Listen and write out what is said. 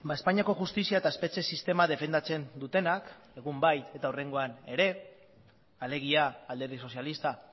espainiako justizia eta espetxe sistema defendatzen dutenak egun bai eta hurrengoan ere alegia alderdi sozialista